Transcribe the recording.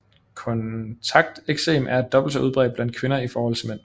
Kontakteksem er dobbelt så udbredt blandt kvinder i forhold til mænd